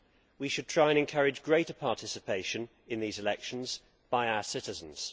We should try to encourage greater participation in these elections by our citizens.